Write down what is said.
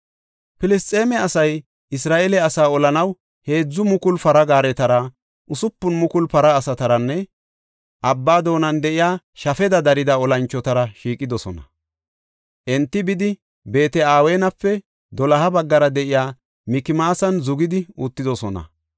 Filisxeeme asay Isra7eele asaa olanaw heedzu mukulu para gaaretara, usupun mukulu para asataranne abba doonan de7iya shafeda darida olanchotara shiiqidosona. Enti bidi, Beet-Aweenape doloha baggara de7iya Mikmaasan zugidi uttidosona.